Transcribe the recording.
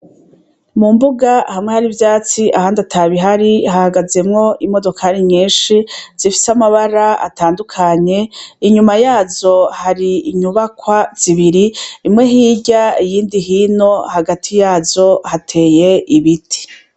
Mumbuga hamwe hari ivyatsi ahandi atabihari hahagazemo imodoka ari nyinshi zifise amabara atandukanye inyuma yazo hari inyubakwa zibiri imwe hirya y'indi hino hagati yazo hateye ibiti.